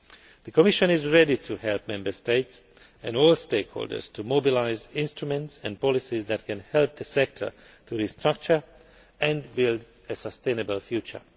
The Commission is ready to help Member States and all stakeholders to mobilise instruments and policies that can help the sector to restructure and build a sustainable